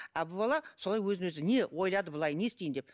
ал бұл бала солай өзін өзі не ойлады былай не істейін деп